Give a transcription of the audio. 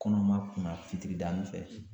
Kɔnɔma kuna fitiridanin fɛ